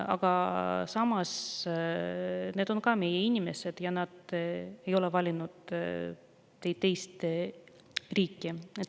Aga samas on ka nemad meie inimesed ja nad ei ole valinud teist riiki.